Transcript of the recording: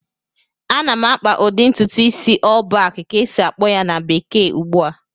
Ana m akpa ụdị ntụtụ isi "all back" ka esi-akpọ ya na bekee ugbu a